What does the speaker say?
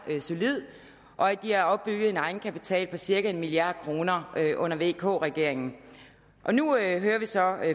er solid og at de har opbygget en egenkapital på cirka en milliard kroner under vk regeringen nu hører vi så